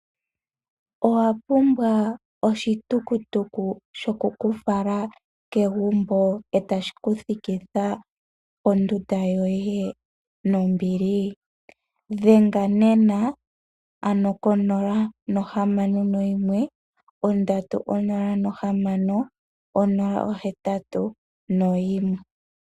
Owapumbwa oshitukutuku shokukufala kegumbo etashi ku thikitha pondunda yoye nombili dhenga nena ko 061306081.